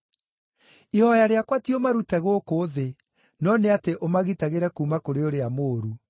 Ihooya rĩakwa ti ũmarute gũkũ thĩ, no nĩ atĩ ũmagitagĩre kuuma kũrĩ ũrĩa mũũru.